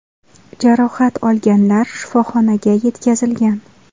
Jarohat olganlar shifoxonaga yetkazilgan.